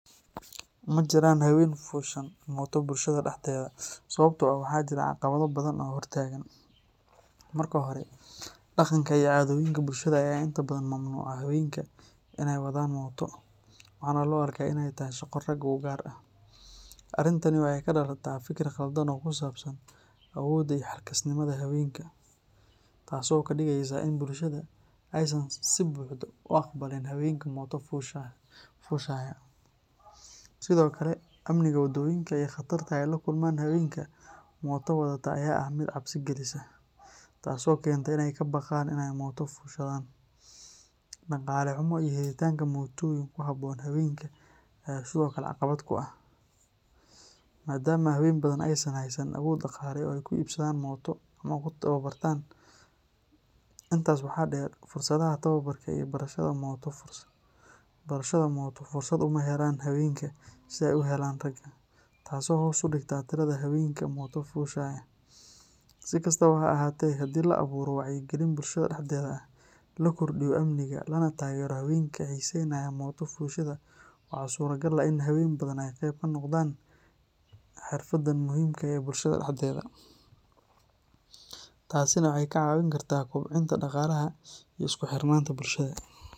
Majiraan haween fushan mooto bulshada dhexdeeda sababtoo ah waxaa jira caqabado badan oo hortaagan. Marka hore, dhaqanka iyo caadooyinka bulshada ayaa inta badan mamnuuca haweenka inay wadaan mooto, waxaana loo arkaa in ay tahay shaqo rag u gaar ah. Arrintani waxay ka dhalataa fikir qaldan oo ku saabsan awoodda iyo xilkasnimada haweenka, taasoo ka dhigaysa in bulshada aysan si buuxda u aqbalin haweenka mooto fushaya. Sidoo kale, amniga waddooyinka iyo khatarta ay la kulmaan haweenka mooto wadata ayaa ah mid cabsi gelisa, taasoo keenta in ay ka baqaan inay mooto fushadaan. Dhaqaale xumo iyo helitaanka mootooyin ku habboon haweenka ayaa sidoo kale caqabad ku ah, maadaama haween badan aysan haysan awood dhaqaale oo ay ku iibsadaan mooto ama ku tababartaan. Intaas waxaa dheer, fursadaha tababarka iyo barashada mooto fursad uma helaan haweenka sida ay u helaan ragga, taasoo hoos u dhigta tirada haweenka mooto fushaya. Si kastaba ha ahaatee, haddii la abuuro wacyi gelin bulshada dhexdeeda ah, la kordhiyo amniga, lana taageero haweenka xiisaynaya mooto fushida, waxaa suuragal ah in haween badan ay qayb ka noqdaan xirfadan muhiimka ah ee bulshada dhexdeeda. Taasina waxay ka caawin kartaa kobcinta dhaqaalaha iyo isku xirnaanta bulshada.